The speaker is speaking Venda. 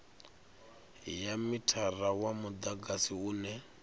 ya mithara wa mudagasi une